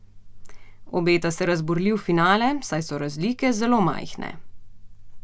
Obeta se razburljiv finale, saj so razlike zelo majhne.